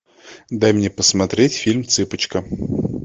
дай мне посмотреть фильм цыпочка